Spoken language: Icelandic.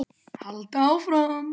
Halda áfram.